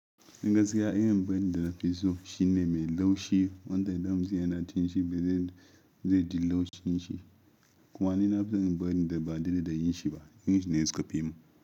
Gaskiya, irin biredi da nafi so shine mai laushi wanda dam sa yana cin shi ba zai, zai ji laushin shi. Kuma ni na fison biredi da ba dade da yin shi ba. Irin shi ne su kafi mun.